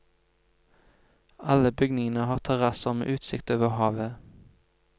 Alle bygningene har terrasse med utsikt over havet.